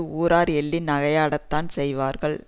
ஊரார் எள்ளி நகையாடத்தான் செய்வார்கள்